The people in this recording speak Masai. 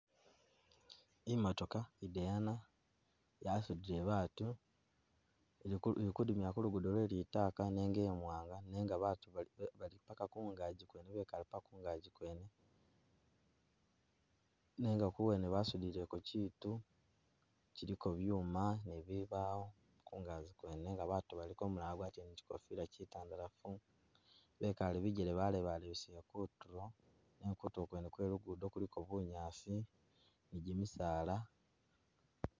Imotoka i dayana yasudile batu,i kudimila ku lugudo lwe litaka nenga i mwanaga nenga batu bali paka kungagi bekale paka kungagi kwene nenga wuwene basudileko kyitu kyiliko byuma ne bibaawo kungaji kwene nenga batu baliko umulala wagwatile kyikofila kyi tandalafu bekale bijele balebalebesele kutulo, nenga kutulo kwene kwe lugudo kuliko bunyaasi ni jimisaala.